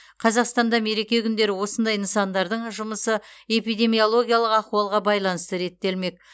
қазақстанда мереке күндері осындай нысандардың жұмысы эпидемиологиялық ахуалға байланысты реттелмек